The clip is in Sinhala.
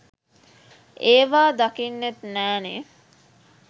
ඒවා දකින්නෙත් නෑනෙ.